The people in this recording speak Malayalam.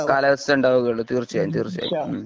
കാലാവസ്ഥ ഉണ്ടാകുകയുള്ളൂ തീര്ച്ചയായും തർച്ചയായും